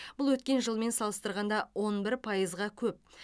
бұл өткен жылмен салыстырғанда он бір пайызға көп